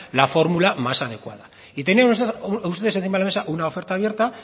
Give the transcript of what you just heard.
la fórmula más adecuada y tienen ustedes encima de la mesa una oferta abierta